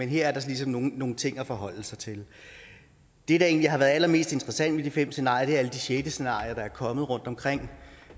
her er der ligesom nogle ting at forholde sig til det der egentlig har været allermest interessant ved de fem scenarier er alle de sjette scenarier der er kommet rundtomkring